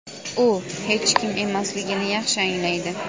u hech kim emasligini yaxshi anglaydi.